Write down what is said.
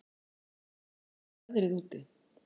Dröfn, hvernig er veðrið úti?